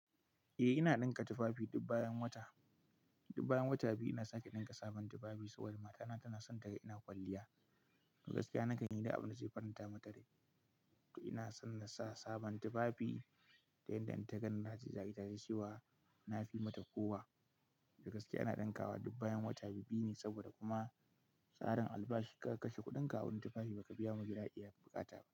Eh ina ɗinka tufafi duk bayan wata, duk bayan wata biyu ina sake ɗinka sabon tufafi saboda matana tana son ta ga ina kwalliya. To gaskiya na kan yi duk abu da zai faranta mata rai. To ina son na sa sabon tufafi ta yanda in ta gani na ji zagi ta shewa na fi mata kowa. To gaskiya ina ɗinkawa duk bayan wata biyu-biyu ne saboda kuma tsarin albashi ka kashe kuɗinka wurin tufafi baka biya majiraƙi ya buƙata ba.